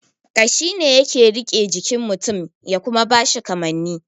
Kashi ne yake rike jikin mutun ya kuma bashi kamani